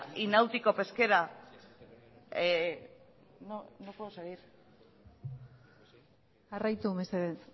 y náutico pesquera no puedo seguir jarraitu mesedez